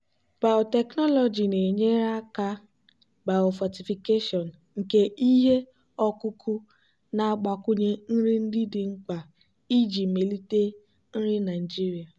biotechnology na-enyere aka biofortification nke ihe ọkụkụ na-agbakwunye nri ndị dị mkpa iji melite nri naijiria.